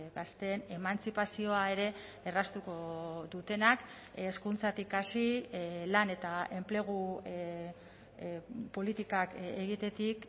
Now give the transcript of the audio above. gazteen emantzipazioa ere erraztuko dutenak hezkuntzatik hasi lan eta enplegu politikak egitetik